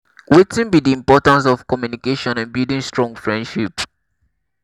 wetin be di importance of communication in building strong friendship?